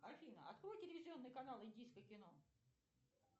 афина открой телевизионный канал индийское кино